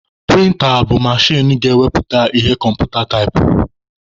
Prịnta bụ machin ga-ewepụta ihe kọmputa taipụrụ.